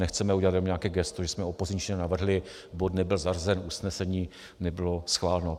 Nechceme udělat jenom nějaké gesto, že jsme opozičně navrhli, bod nebyl zařazen, usnesení nebylo schváleno.